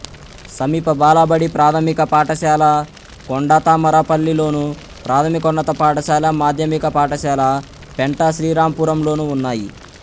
సమీప బాలబడి ప్రాథమిక పాఠశాల కొండతామరపల్లిలోను ప్రాథమికోన్నత పాఠశాల మాధ్యమిక పాఠశాల పెంటశ్రీరాంపురంలోనూ ఉన్నాయి